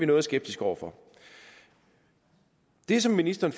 noget skeptisk over for det som ministeren